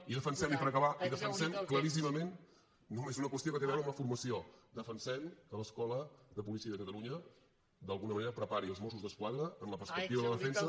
i defensem i per acabar claríssimament només una qüestió que té a veure amb la formació defensem que l’escola de policia de catalunya d’alguna manera prepari els mossos d’esquadra en la perspectiva de la defensa